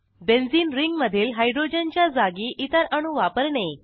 benzene ring मधील हायड्रोजनच्या जागी इतर अणू वापरणे